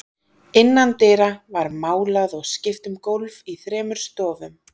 Innan dyra var málað og skipt um gólf í þremur stofum.